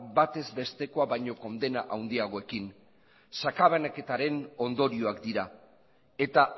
batez bestekoa baino kondena handiagoarekin sakabanaketaren ondorioak dira eta